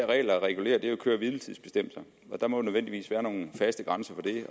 regler regulerer er køre hvile tids bestemmelser og der må nødvendigvis være nogle faste grænser